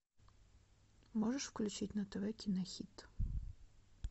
можешь включить на тв кинохит